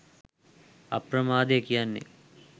අප්‍රමාදය කියන්නෙ